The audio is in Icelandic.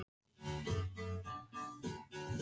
Hver gat verið að hringja á þessum tíma?